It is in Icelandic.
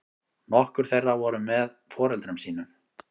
Nokkur þeirra voru með foreldrum sínum